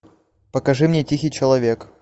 покажи мне тихий человек